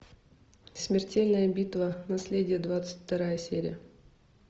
смертельная битва наследие двадцать вторая серия